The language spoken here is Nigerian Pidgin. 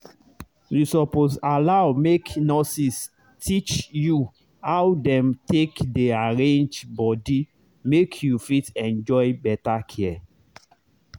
you suppose allow make nurses teach you how dem take dey arrange body make you fit enjoy better care